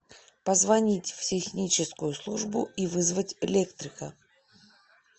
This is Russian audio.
позвонить в техническую службу и вызвать электрика